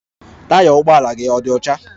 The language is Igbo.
Taya ụgbọ ala gị ọ̀ dị ọcha?